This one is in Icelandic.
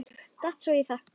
Datt svo í það.